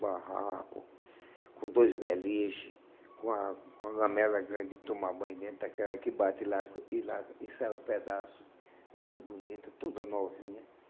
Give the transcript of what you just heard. Barraco, com dois beliche, com a com a lamela grande de tomar banho dentro daquela que bate lá e lá e sai um pedaço muito bonito, toda novinha.